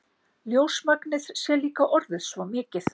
Ljósmagnið sé líka orðið svo mikið.